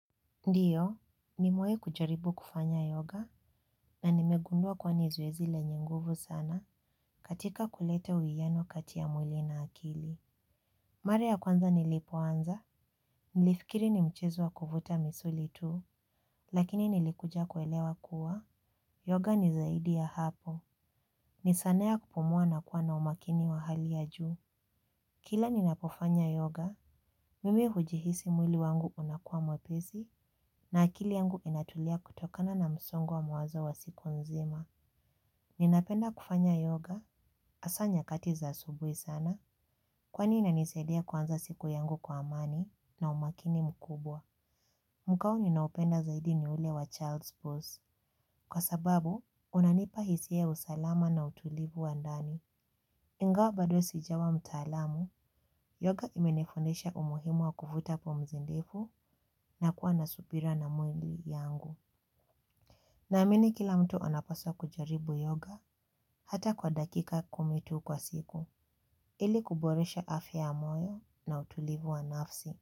Ndiyo, nimewahi kujaribu kufanya yoga na nimegundua kuwa ni zoezi lenye nguvu sana katika kuleta uwiano kati ya mwili na akili. Mar aya kwanza nilipoanza, nilifikiri ni mchezo wa kuvuta misuli tu, lakini nilikuja kuelewa kuwa, yoga ni zaidi ya hapo. Ni sanaa ya kupumua na kuwa na umakini wa hali ya juu. Kila ninapofanya yoga, mimi hujihisi mwili wangu unakuwa mwepesi na akili yangu inatulia kutokana na msongo wa mawazo wa siku nzima. Ninapenda kufanya yoga hasa nyakati za asubuhi sana kwani inanisaidia kuanza siku yangu kwa amani na umakini mkubwa. Mkao ninaopenda zaidi ni ule wa child's pose. Kwa sababu, unanipa hisia ya usalama na utulivu wa ndani. Ingawa bado sijawa mtaalamu, yoga imenifundesha umuhimu wa kuvuta pumzi ndefu na kuwa na subira na mwilii yangu. Naamini kila mtu anapaswa kujaribu yoga hata kwa dakika kumi tu kwa siku, ili kuboresha afya ya moyo na utulivu wa nafsi.